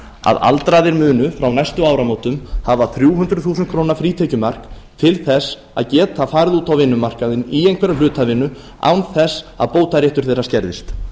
að aldraðir muni frá næstu áramótum hafa þrjú hundruð þúsund króna frítekjumark til þess að geta farið út á vinnumarkaðinn í einhverja hlutavinnu án þess að bótaréttur þeirra skerðist